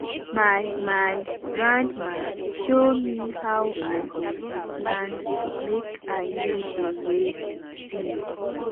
my my grandma show me how i go dey plant make i no dey waste seed.